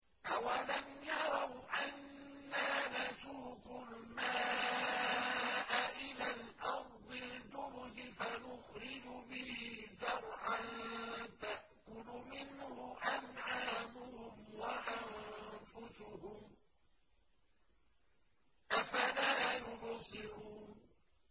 أَوَلَمْ يَرَوْا أَنَّا نَسُوقُ الْمَاءَ إِلَى الْأَرْضِ الْجُرُزِ فَنُخْرِجُ بِهِ زَرْعًا تَأْكُلُ مِنْهُ أَنْعَامُهُمْ وَأَنفُسُهُمْ ۖ أَفَلَا يُبْصِرُونَ